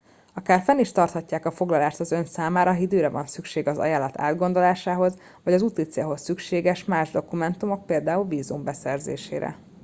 akár fenn is tartják a foglalást az ön számára ha időre van szüksége az ajánlat átgondolásához vagy az úticélhoz szükséges más dokumentumok például vízum beszerzésére